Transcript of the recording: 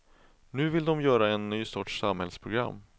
Nu vill de göra en ny sorts samhällsprogram.